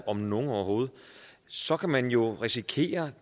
om nogen overhovedet så kan man jo risikere